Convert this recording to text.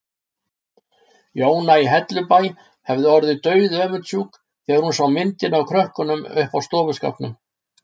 Jóna í Hellubæ hefði orðið dauðöfundsjúk þegar hún sá myndina af krökkunum uppi á stofuskápnum.